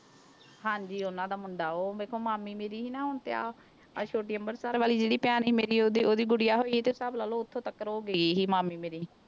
ਹਾਂਜੀ ਉਹਨਾਂ ਦਾ ਮੁੰਡਾ ਉਹ ਵੇਖੋ ਮਾਮੀ ਮੇਰੀ ਸੀ ਆਹ ਛੋਟੀ ਅੰਬਰਸਰ ਵਾਲੀ ਜਿਹੜੀ ਭੈਣ ਸੀ ਮੇਰੀ ਉਹਦੀ ਉਹਦੀ ਗੁਡੀਆ ਹੋਈ ਤੇ ਹਿਸਾਬ ਲਾ ਲਓ ਉੱਥੇ ਤੱਕਰ ਉਹ ਗਈ ਸੀ ਮਾਮੀ ਮੇਰੀ।